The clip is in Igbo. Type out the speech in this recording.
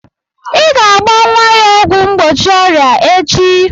Ị ga-agba nwa ya ọgwụ mgbochi ọrịa echi!